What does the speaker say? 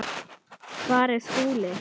Hvar er Skúli?